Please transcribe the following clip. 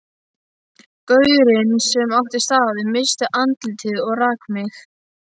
Gaurinn sem átti staðinn missti andlitið og rak mig.